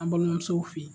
An balimamusow fɛ